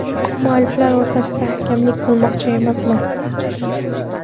Mualliflar o‘rtasida hakamlik qilmoqchi emasman.